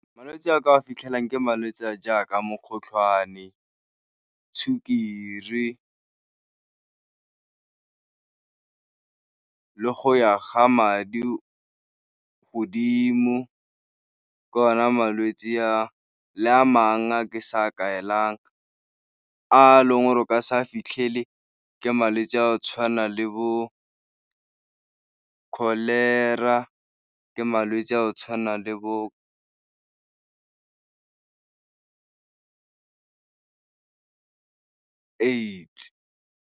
Malwetse a ka fitlhelang ke malwetse a jaaka mokgotlhwane, sukiri le go ya ga madi godimo, ke ona malwetse a le a mang a ke sa kaelang. A leng o ka se a fitlhele ka malwetse a tshwana le bo kholera, ke malwetse a go tshwana le bo AIDS.